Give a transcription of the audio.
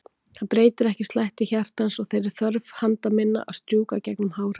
Það breytir ekki slætti hjartans og þeirri þörf handa minna að strjúka gegnum hár hans.